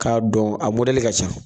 K'a dɔn a mɔdɛli ka ca.